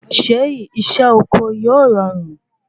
Ṣé isé oko yóò rọrùn?